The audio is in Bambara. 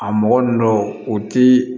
A mɔgɔ ninnu dɔw o ti